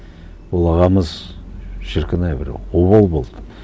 ол ағамыз шіркін ай бір обал болды